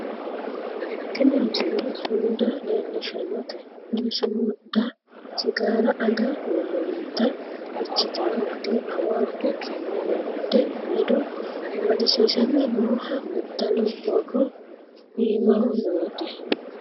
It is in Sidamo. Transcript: tini misile sumuda leellishshannote kuni sumuda sigaara aga hoolloonnita ikkitino gede awaaju kiiro ledo amadisiisame nooha kultanno borro iimaho noote